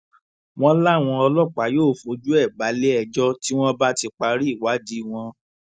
wọn láwọn ọlọpàá yóò fojú ẹ balẹẹjọ tí wọn bá ti parí ìwádìí wọn